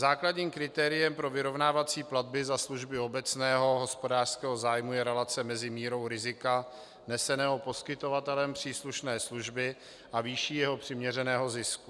Základním kritériem pro vyrovnávací platby za služby obecného hospodářského zájmu je relace mezi mírou rizika neseného poskytovatelem příslušné služby a výší jeho přiměřeného zisku.